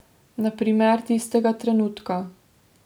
Na primer tistega trenutka.